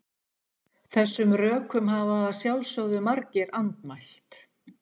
Þessum rökum hafa að sjálfsögðu margir andmælt.